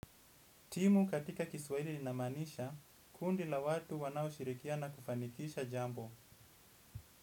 Timu katika Kiswaili linamanisha, kundi la watu wanao shirikia na kufanikisha jambo.